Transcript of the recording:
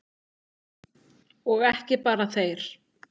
Og ekki bara þeir.